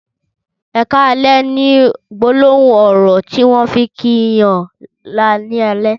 ''Ẹ kàlẹ̀'' ni gbólóhùn ọrọ tiwọn fi n kí yàn ni àlẹ̀